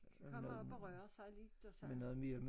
Kommer op og rører sig lidt og sådan